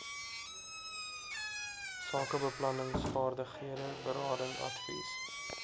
sakebeplanningsvaardighede berading advies